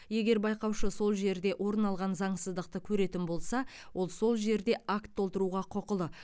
егер байқаушы сол жерде орын алған заңсыздықты көретін болса ол сол жерде акт толтыруға құқылы